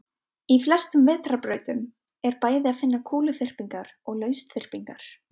Í flestum vetrarbrautum er bæði að finna kúluþyrpingar og lausþyrpingar.